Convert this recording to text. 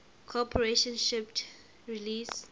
corporation shipped release